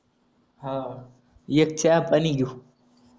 हा ऐके हातानी घेऊ